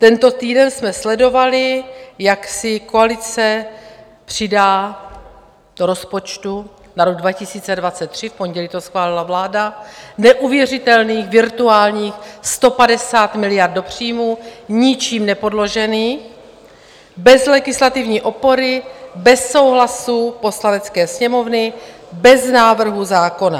Tento týden jsme sledovali, jak si koalice přidá do rozpočtu na rok 2023 - v pondělí to schválila vláda - neuvěřitelných virtuálních 150 miliard do příjmů, ničím nepodložených, bez legislativní opory, bez souhlasu Poslanecké sněmovny, bez návrhu zákona.